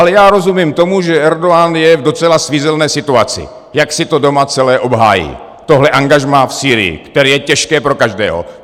Ale já rozumím tomu, že Erdogan je v docela svízelné situaci, jak si to doma celé obhájí, tohle angažmá v Sýrii, které je těžké pro každého.